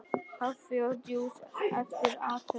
Kaffi og djús eftir athöfn.